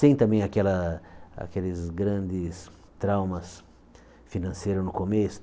Sem também aquela aqueles grandes traumas financeiros no começo.